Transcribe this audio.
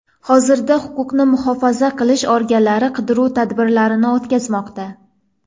Hozirda huquqni muhofaza qilish organlari qidiruv tadbirlarini o‘tkazmoqda.